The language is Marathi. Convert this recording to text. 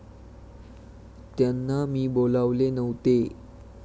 त्यांना मी बोलावले नव्हते.